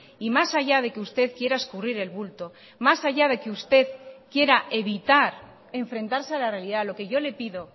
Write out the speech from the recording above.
y más allá de que usted quiera escurrir el bulto más allá de que usted quiera evitar enfrentarse a la realidad lo que yo le pido